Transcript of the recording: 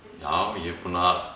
já ég er búinn að